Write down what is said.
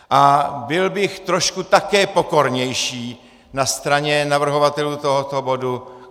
A byl bych trošku také pokornější na straně navrhovatelů tohoto bodu.